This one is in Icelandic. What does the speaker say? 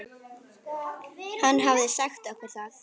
Hann hafði sagt okkur það.